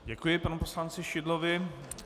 Děkuji panu poslanci Šidlovi.